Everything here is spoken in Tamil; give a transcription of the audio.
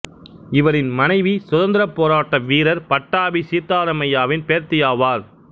இவரின் மனைவி சுதந்திரப் போராட்ட வீரர் பட்டாபி சீத்தாராமய்யாவின் பேத்தியாவார்